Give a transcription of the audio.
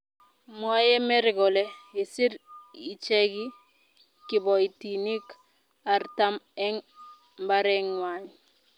mwoei Mary kole kisir icheke kiboitinik artam eng mbareng'wany